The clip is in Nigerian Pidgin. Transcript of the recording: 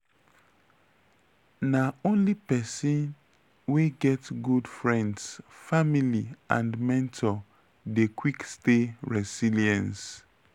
na only pesin wey get good friends family and mentor dey quick stay resilience.